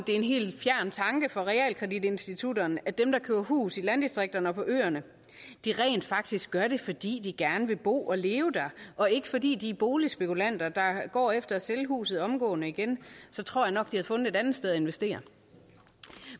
er en helt fjern tanke for realkreditinstitutterne at dem der køber hus i landdistrikterne og på øerne rent faktisk gør det fordi de gerne vil bo og leve der og ikke fordi de er boligspekulanter der går efter at sælge huset omgående igen så tror jeg nok havde fundet et andet sted at investere